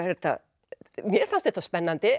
mér fannst þetta spennandi